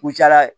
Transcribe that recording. U caya la